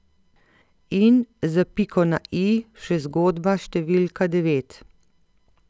In, za piko na i, še zgodba številka devet.